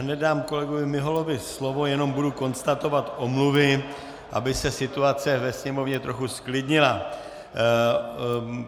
Hned dám kolegovi Miholovi slovo, jenom budu konstatovat omluvy, aby se situace ve sněmovně trochu zklidnila.